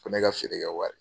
Ko ne ka feere kɛ wari.